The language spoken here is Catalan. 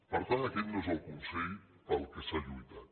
per tant aquest no és el consell per què s’ha lluitat